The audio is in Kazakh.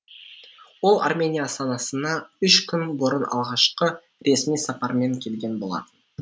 ол армения астанасына үш күн бұрын алғашқы ресми сапармен келген болатын